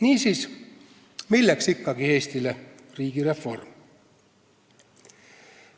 Niisiis, milleks ikkagi Eestile riigireform?